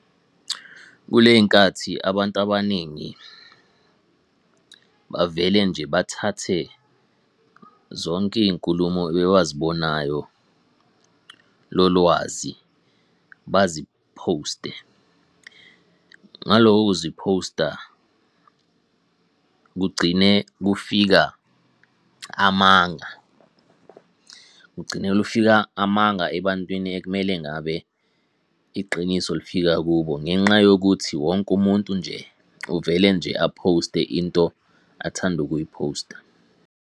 Kuley'nkathi abantu abaningi, bavele nje bathathe zonke iy'nkulumo ewazibonayo lolwazi baziphoste. Ngalokho kuziphosta, kugcine kufika amanga. Kugcine lufika amanga ebantwini ekumele ngabe iqiniso lifika kubo, ngenxa yokuthi wonke umuntu nje uvele nje aphoste into athanda ukuyiphosta.